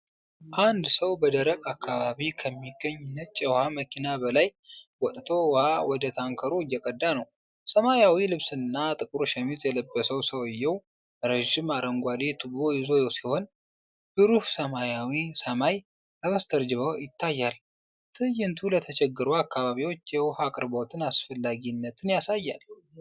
አንድ ሰው በደረቅ አካባቢ ከሚገኝ ነጭ የውሃ መኪና በላይ ወጥቶ ውሃ ወደ ታንከሩ እየቀዳ ነው። ሰማያዊ ልብስና ጥቁር ሸሚዝ የለበሰው ሰውዬው ረዥም አረንጓዴ ቱቦ ይዞ ሲሆን፣ ብሩህ ሰማያዊ ሰማይ ከበስተጀርባው ይታያል። ትዕይንቱ ለተቸገሩ አካባቢዎች የውሃ አቅርቦትን አስፈላጊነት ያሳያል።